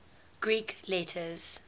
greek letters